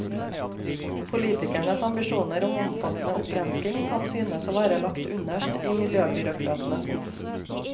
Politikernes ambisjoner om omfattende opprenskning kan synes å være lagt underst i miljøbyråkratenes skuff.